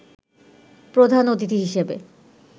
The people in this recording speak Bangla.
প্রধান অতিথি হিসেবে